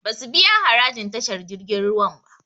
Basu biya harajin tashar jirgin ruwan ba